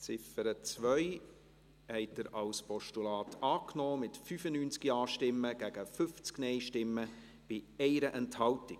Sie haben die Ziffer 2 als Postulat angenommen, mit 95 Ja- gegen 50 Nein-Stimmen bei 1 Enthaltung.